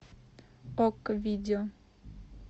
окко видео